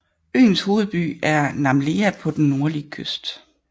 Øens hovedby er Namlea på den nordlige kyst